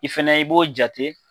I fɛnɛ i b'o jate .